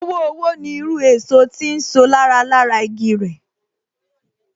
Owo Owo ni irú èso tí ń so lára lára igi rẹ̀